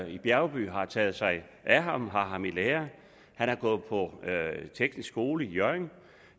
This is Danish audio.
i bjergby taget sig af ham har ham i lære og han har gået på teknisk skole i hjørring